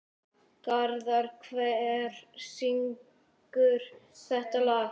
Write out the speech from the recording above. Garðar, hver syngur þetta lag?